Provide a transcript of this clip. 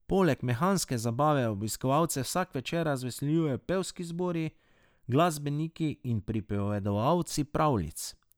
Poleg mehanske zabave obiskovalce vsak večer razveseljujejo pevski zbori, glasbeniki in pripovedovalci pravljic.